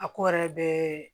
A ko yɛrɛ bɛɛ